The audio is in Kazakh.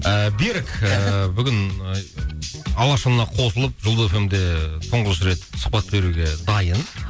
ыыы берік ыыы бүгін алашұлына қосылып жұлдыз эф эм де тұңғыш рет сұхбат беруге дайын